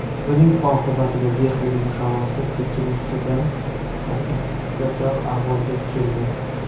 Buning oqibatida Dehlining havosi Pekinnikidan ham iflosroq ahvolga keldi.